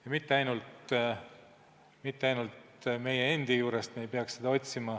Ja me ei peaks seda otsima mitte ainult meie endi juurest.